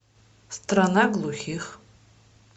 страна глухих